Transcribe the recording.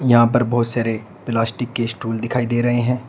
यहां पर बहोत सारे प्लास्टिक के स्टूल दिखाई दे रहे हैं।